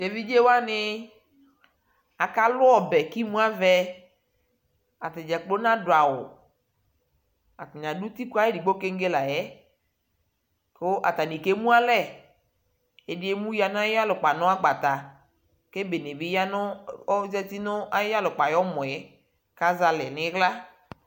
Teviɖʒewani akaluɔbɛ kimuavɛ ataɖʒakplo naduawuatani adu utiku ayidigbo keŋge layɛ atani emualɛ ɛdi emuya nayiyalukpanagbata kebene bi yanu aƶatinayɔmɔɛ kaƶalɛ niɣla